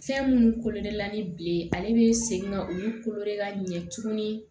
Fɛn minnu kolo la ni bilen ale bɛ segin ka olu kolo ka ɲɛ tuguni